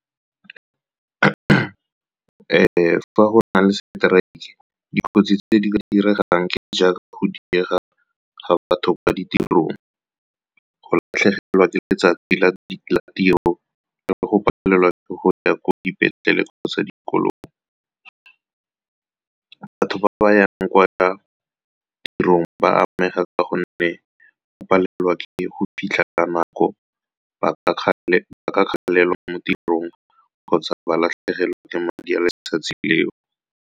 Fa go na le strike-e, dikotsi tse di ka diragalang ke jaaka go diega ga batho kwa ditirong, go latlhegelwa ke letsatsi la tiro le go palelwa ke go ya ko dipetleleng kgotsa dikolong. Batho ba ba yang kwa tirong ba amega ka gonne go palelwa ke go fitlha ka nako, ba ka gatelelwa mo tirong kgotsa ba latlhegelwa ke madi a le letsatsi le o.